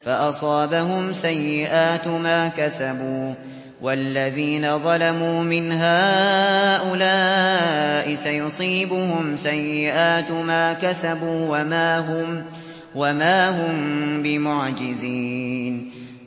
فَأَصَابَهُمْ سَيِّئَاتُ مَا كَسَبُوا ۚ وَالَّذِينَ ظَلَمُوا مِنْ هَٰؤُلَاءِ سَيُصِيبُهُمْ سَيِّئَاتُ مَا كَسَبُوا وَمَا هُم بِمُعْجِزِينَ